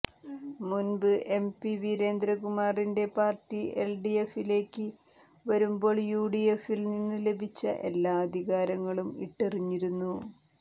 മുൻപ് എംപി വീരേന്ദ്രകുമാറിന്റെ പാർട്ടി എൽഡിഎഫിലേക്ക് വരുമ്പോൾ യുഡിഎഫിൽ നിന്നും ലഭിച്ച എല്ലാ അധികാരങ്ങളും ഇട്ടെറിഞ്ഞിരുന്നു